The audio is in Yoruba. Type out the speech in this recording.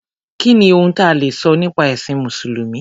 Kí ni ohun ta lè sọ nípa ẹ̀sìn Mùsùlùmí?